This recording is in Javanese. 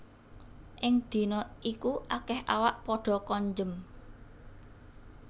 Ing dina iku akèh awak padha konjem